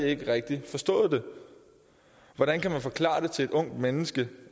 ikke rigtig forstået det hvordan kan man forklare det til et ungt menneske